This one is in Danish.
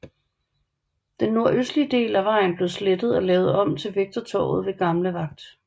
Den nordøstlige del at vejen blev slettet og lavet om til Vægtertorvet ved Gamle Vagt